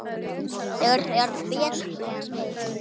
Þeir eru betri en við.